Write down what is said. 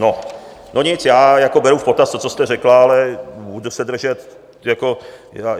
No, no nic, já jako beru v potaz to, co jste řekla, ale budu se držet jako...